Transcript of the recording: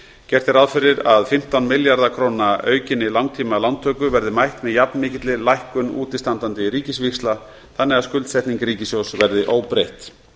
gert er ráð fyrir að fimmtán milljarða króna aukinni langtímalántöku verði mætt með jafn mikilli lækkun útistandandi ríkisvíxla þannig að skuldsetning ríkissjóðs verði óbreytt